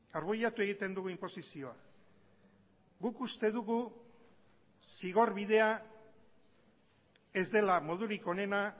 arbuiatu egiten dugu inposizioa guk uste dugu zigor bidea ez dela modurik onena